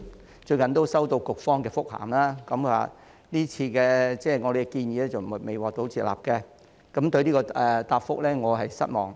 我最近收到局方的覆函，得知我們這次的建議未獲接納，我對這個答覆感到失望。